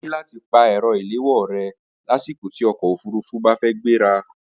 O ní láti pa ẹ̀rọ ìléwọ́ rẹ lásìkò tí ọkọ̀ òfurufú bá fẹ́ gbéra